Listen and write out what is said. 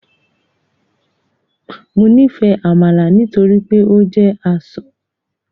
Mo nifẹ amala nitori pe o jẹ asọ